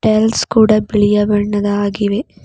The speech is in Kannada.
ಟೈಲ್ಸ್ ಕೂಡ ಬಿಳಿಯ ಬಣ್ಣದ ಆಗಿವೆ.